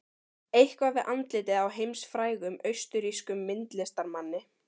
eitthvað við andlitið á heimsfrægum, austurrískum myndlistarmanni